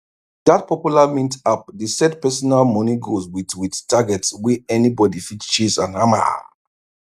that popular mint app dey set personal money goals with with targets wey anybody fit chase and hammer